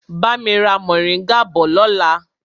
Bami ra moringa bọ̀ lọ́la!